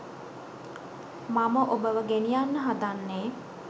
මම ඔබව ගෙනියන්න හදන්නේ.